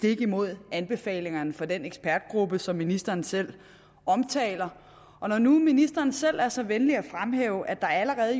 imod anbefalingerne fra den ekspertgruppe som ministeren selv omtaler og når nu ministeren selv er så venlig at fremhæve at der allerede